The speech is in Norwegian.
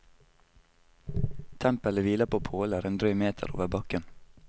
Tempelet hviler på påler en drøy meter over bakken.